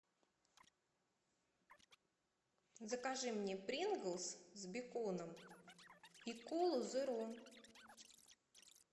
закажи мне принглс с беконом и колу зеро